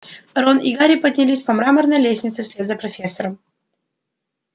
рон и гарри поднялись по мраморной лестнице вслед за профессором